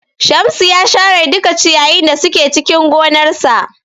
Shamsu ya share duka ciyayin da suke cikin gonarsa.